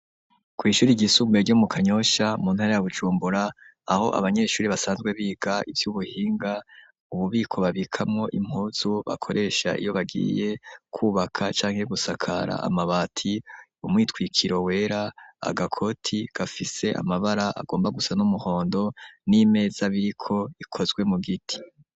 Kwi'ishuri ryisumbuye ryo mu Kanyosha muntara ya Bujumbura aho abanyeshuri basanzwe biga ivy'ubuhinga ububiko babikamo impuzu bakoresha iyo bagiye kubaka canke gusakara amabati umwitwikiro wera agakoti gafise amabara agomba gusa n'umuhondo n'imeza biriko ikozwe mu giti.